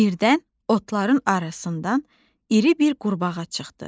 Birdən otların arasından iri bir qurbağa çıxdı.